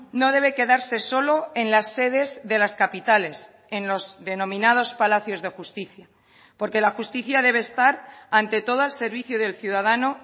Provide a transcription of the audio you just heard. no debe quedarse solo en las sedes de las capitales en los denominados palacios de justicia porque la justicia debe estar ante todo al servicio del ciudadano